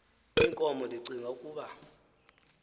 inkomo ndicing ukuba